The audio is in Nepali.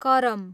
करम